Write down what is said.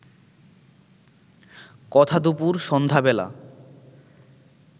কথা দুপুর সন্ধ্যা বেলা